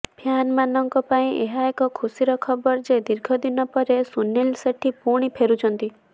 ଫ୍ୟାନମାନଙ୍କ ପାଇଁ ଏହା ଏକ ଖୁସିର ଖବର ଯେ ଦୀର୍ଘ ଦିନ ପରେ ସୁନିଲ୍ ସେଟ୍ଟୀ ପୁଣି ଫେରୁଛନ୍ତି